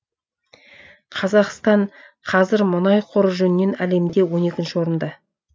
қазақстан қазір мұнай қоры жөнінен әлемде он екінші орында